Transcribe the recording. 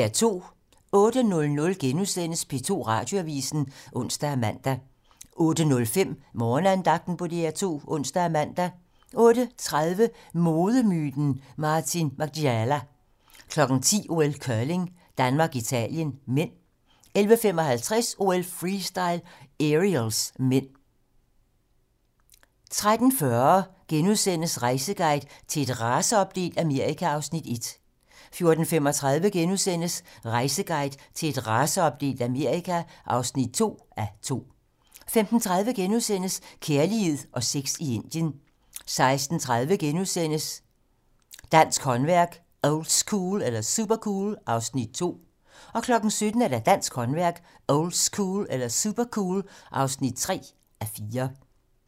08:00: P2 Radioavisen *(ons og man) 08:05: Morgenandagten på DR2 (ons og man) 08:30: Modemyten Martin Margiela 10:00: OL: Curling - Danmark-Italien (m) 11:55: OL: Freestyle - Aerials (m) 13:40: Rejseguide til et raceopdelt Amerika (1:2)* 14:35: Rejseguide til et raceopdelt Amerika (2:2)* 15:30: Kærlighed og sex i Indien * 16:30: Dansk håndværk - oldschool eller supercool? (2:4)* 17:00: Dansk håndværk - oldschool eller supercool? (3:4)